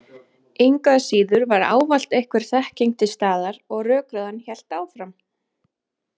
Engu að síður var ávallt einhver þekking til staðar og rökræðan hélt áfram.